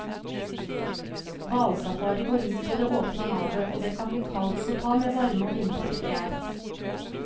Hvalsafari går ut på det åpne havet, og det kan bli kaldt, så ta med varme og vindtette klær.